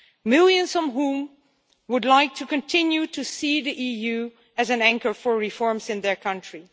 millions of whom would like to continue to see the EU as an anchor for reforms in their country.